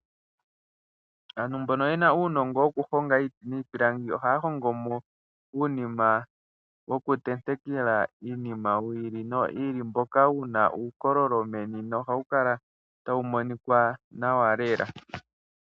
Aantu mbono ye na uunongo wokuhonga iiti niipilangi ohaya hongo mo uunima wokutenteka iinima yi ili noyi ili mboka wu na uukololo meni nohawu kala tawu monika nawa lela.